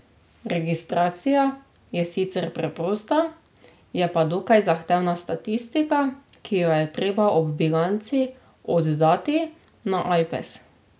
Registracija je sicer preprosta, je pa dokaj zahtevna statistika, ki jo je treba ob bilanci oddati na Ajpes.